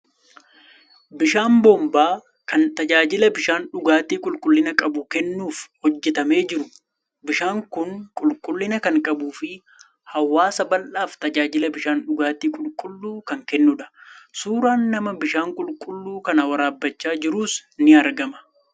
Bishaan boombaa kan tajaajila bishaan dhugaatii qulqullina qabu kennuuf hojjetamee jiru. Bishaan kun qulqullina kan qabuu fi hawaasa bal'aaf tajaajila bishaan dhugaatii qulqulluu kan kennudha. Suuraan nama bishaan qulqulluu kana waraabbachaa jiruus ni argama.